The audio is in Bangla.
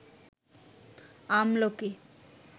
আমলকি